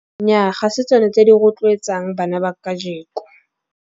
Nyaa, ha se tsona tse di rotloetsang bana ba kajeko.